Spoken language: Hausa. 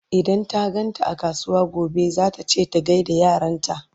idan ta ganta a kasuwa gobe zata ce ta gaida yaranta